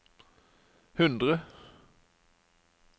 hundre